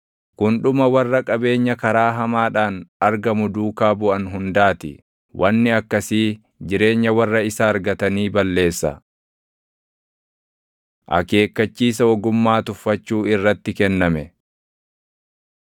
Kun dhuma warra qabeenya karaa hamaadhaan argamu duukaa buʼan hundaa ti; wanni akkasii jireenya warra isa argatanii balleessa. Akeekkachiisa Ogummaa Tuffachuu Irratti Kenname